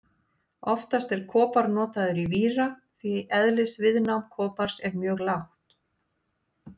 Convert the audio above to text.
Oftast er kopar notaður í víra því eðlisviðnám kopars er mjög lágt.